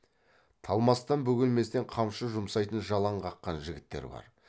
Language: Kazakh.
талмастан бөгелместен қамшы жұмсайтын жалаң қаққан жігіттер бар